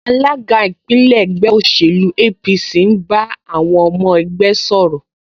Alága ìpínlẹ̀ ẹgbẹ́ òṣèlú APC ń bá àwọn ọmọ ẹgbẹ́ sọ̀rọ̀